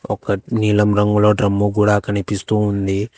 ఒకటి నీలం రంగులో డ్రమ్ము కూడా కనిపిస్తూ ఉంది.